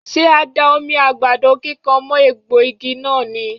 Ṣé a da omi àgbàdo kíkan mọ́ egbò igi náà ni?.